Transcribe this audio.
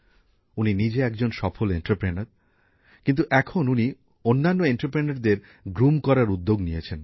উনি নিজে একজন সফল শিল্পোদ্যোগী কিন্তু এখন উনি অন্যান্য শিল্পোদ্যোগীদেরও গড়ে তোলার উদ্যোগ নিয়েছেন